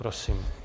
Prosím.